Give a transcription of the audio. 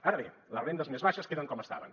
ara bé les rendes més baixes queden com estaven